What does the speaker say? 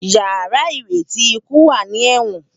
Iyàrá iréti ikú wá ni èwòn